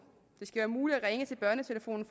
det skal være muligt at ringe til børnetelefonen